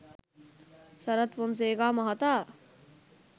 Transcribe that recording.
සරත් ෆොන්සේකා මහතා